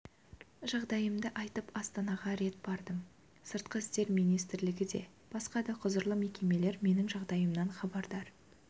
жағдайымды айтып астанаға рет бардым сыртқы істер министрлігі де басқа да құзырлы мекемелер менің жағдайымнан хабардар